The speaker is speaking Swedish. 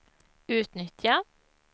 utnyttja